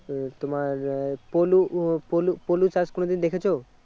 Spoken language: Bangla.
উম তোমার আহ পলু আহ পলু পলু চাষ কোনদিন দেখেছো?